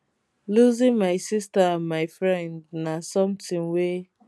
losing my sister and my friend na sometin wey